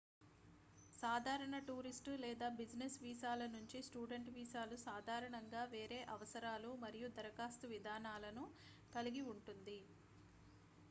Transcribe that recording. సాధారణ టూరిస్ట్ లేదా బిజినెస్ వీసాల నుంచి స్టూడెంట్ వీసాలు సాధారణంగా వేరే అవసరాలు మరియు ధరఖాస్తు విధానాలను కలిగి ఉంటుంది